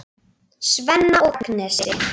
Svenna og Agnesi.